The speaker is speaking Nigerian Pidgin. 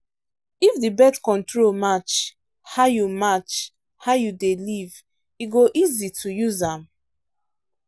if the birth control match how you match how you dey live e go easy to use am.